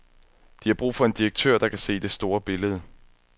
De har brug for en direktør, der kan se det store billede.